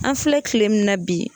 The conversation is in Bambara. An filɛ kile min na bi